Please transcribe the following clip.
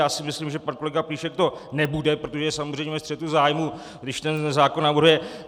Já si myslím, že pan kolega Plíšek to nebude, protože je samozřejmě ve střetu zájmů, když ten zákon navrhuje.